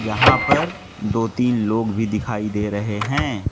यहां पर दो-तीन लोग भी दिखाई दे रहे हैं।